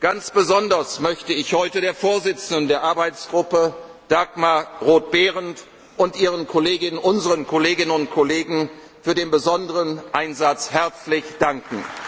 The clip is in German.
Ganz besonders möchte ich heute der Vorsitzenden der Arbeitsgruppe, Dagmar Roth Behrendt, und ihren unseren Kolleginnen und Kollegen für ihren besonderen Einsatz herzlich